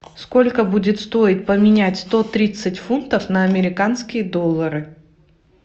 сколько будет стоить поменять сто тридцать фунтов на американские доллары